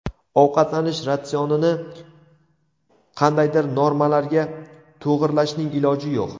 Ovqatlanish ratsionini qandaydir normalarga to‘g‘irlashning iloji yo‘q.